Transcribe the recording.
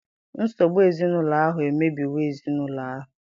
Nsogbu ezinụlọ ahụ emebiwo ezi ezinụlọ ahụ.